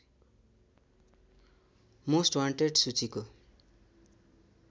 most wanted सूचीको